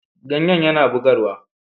Ganye yana bugarwa.